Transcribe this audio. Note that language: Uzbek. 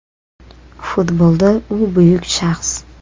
Futbolda u buyuk shaxs.